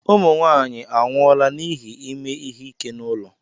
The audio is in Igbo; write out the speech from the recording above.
Ụmụ nwaanyị anwụọla n'ihi ime ihe ike n'ụlọ.